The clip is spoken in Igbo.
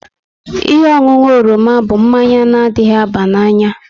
Ihe ọṅụṅụ oroma bụ mmanya na adịghị aba n'anya